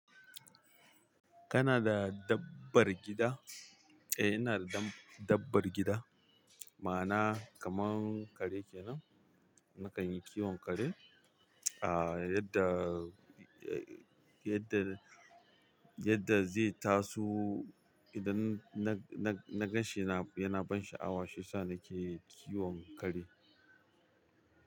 Kana da dabbar gida? Eh, ina da dan dabar gida. Ma'ana kaman kare kenan, nakan yi kiwon kare. Ah, yadda, eh, yadda, yadda zai taso idan na, na, na gan shi yana, yana ban sha'awa, shi yasa nake kiwon kare.